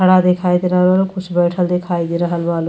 खड़ा देखाई दे रहल बा। कुछ बइठल देखे दे रहल बा लो --